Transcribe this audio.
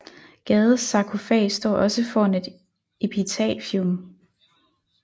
Gades sarkofag står også foran et epitafium